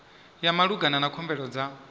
ya malugana na khumbelo dza